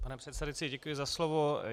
Pane předsedající, děkuji za slovo.